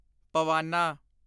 ਪਵਾਨਾ